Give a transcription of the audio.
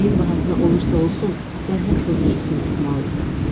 Nəyin bahasına olursa olsun, sərhəd pozucusunu tutmalı idik.